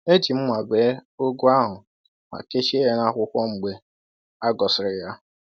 E ji mma bee ugu ahụ ma kechie ya na akwụkwọ mgbe a ghọsịrị ya.